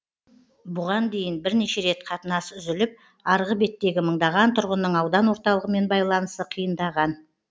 бұған дейін бірнеше рет қатынас үзіліп арғы беттегі мыңдаған тұрғынның аудан орталығымен байланысы қиындаған